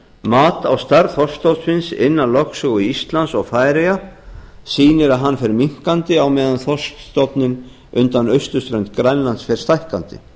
mat á stærð þorskstofnsins innan lögsögu íslands og færeyja sýnir að hann fer minnkandi á meðan þorskstofninn undan austurströnd grænlands fer stækkandi